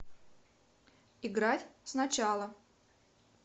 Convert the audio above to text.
играть сначала